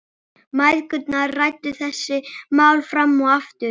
Mæðgurnar ræddu þessi mál fram og aftur.